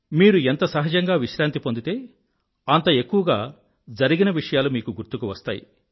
మీరు ఎంత సహజంగా విశ్రాంతి పొందితే అంత ఎక్కువగా జరిగిన విషయాలు మీకు గుర్తుకు వస్తాయి